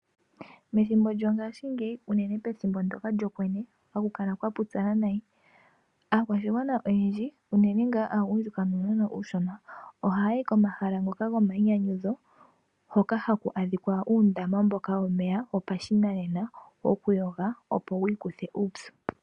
Methimbo lyongashingeyi unene pethimbo ndoka lyokwenye hakukala kwa pupyala noonkondo, aakwashigwana oyendji unene ngaa aagundjuka nuunona uushona ohayi komahala ngoka gomayinyanyudho hoka haku adhika kuundama wopashinanena wokuyoga opo yi ikuthe uupyu.